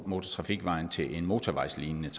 motortrafikvejen til en motorvejslignende